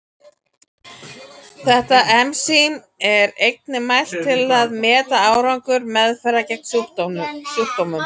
Þetta ensím er einnig mælt til að meta árangur meðferðar gegn sjúkdómnum.